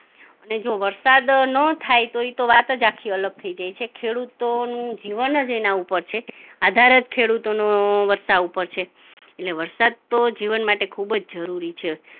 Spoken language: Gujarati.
અને જો વરસાદ નો થાય તો ઈ તો વાત જ આખી અલગ થઇ જાય છે, ખેડૂતોનું જીવન જ એના ઉપર છે આધાર જ ખેડૂતોનો વર્ષા ઉપર છે એટલે વરસાદ તો જીવન માટે ખુબ જ જરૂરી છે.